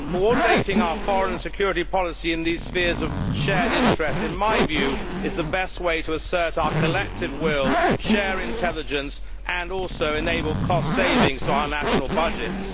Coordinating our foreign and security policy in these spheres of shared interest, in my view, is the best way to assert our collective will, share intelligence and also enable cost savings to our national budgets.